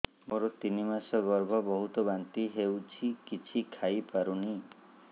ମୋର ତିନି ମାସ ଗର୍ଭ ବହୁତ ବାନ୍ତି ହେଉଛି କିଛି ଖାଇ ପାରୁନି